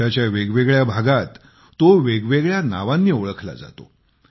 देशाच्या वेगवेगळ्या भागात तो वेगवेगळ्या नावांनी ओळखला जातो